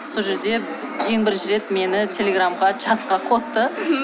сол жерде ең бірінші рет мені телеграмға чатқа қосты